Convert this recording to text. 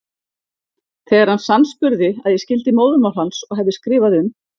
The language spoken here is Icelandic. Þegar hann sannspurði að ég skildi móðurmál hans og hefði skrifað um